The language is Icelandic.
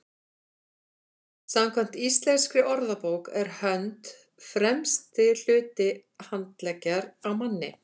samkvæmt íslenskri orðabók er hönd „fremsti hluti handleggjar á manni